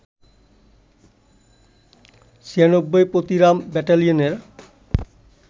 ৯৬ Patiram ব্যাটালিয়নের